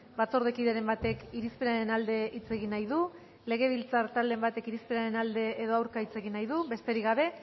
batzordekideren batek irizpenaren alde hitz egin nahi du legebiltzar talderen batek irizpenaren alde edo aurka hitz egin nahi du besterik gabe